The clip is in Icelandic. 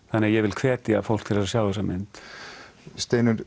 þannig ég vil hvetja fólk til að sjá þessa mynd Steinunn